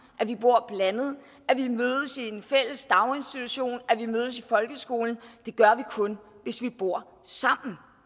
at vi bor blandet at vi mødes i en fælles daginstitution at vi mødes i folkeskolen og det gør vi kun hvis vi bor sammen